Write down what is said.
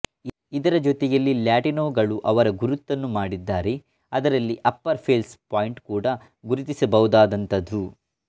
ಇದರ ಜೊತೆಯಲ್ಲಿ ಲ್ಯಾಟಿನೋಗಳು ಅವರ ಗುರುತನ್ನು ಮಾಡಿದ್ದಾರೆ ಅದರಲ್ಲಿ ಅಪ್ಪರ್ ಫೆಲ್ಸ್ ಪಾಯಿಂಟ್ ಕೂಡ ಗುರುತಿಸಬಹುದಾದಂತಹದ್ದು